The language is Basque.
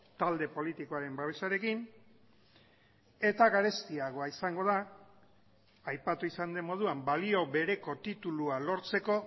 talde politikoaren babesarekin eta garestiagoa izango da aipatu izan den moduan balio bereko titulua lortzeko